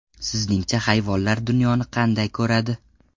Sizningcha hayvonlar dunyoni qanday ko‘radi?